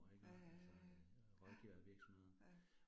Ja ja ja ja, ja, ja